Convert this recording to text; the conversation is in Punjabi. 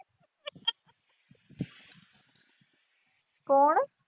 ਕੌਣ।